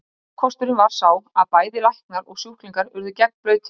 ókosturinn var sá að bæði læknar og sjúklingur urðu gegnblautir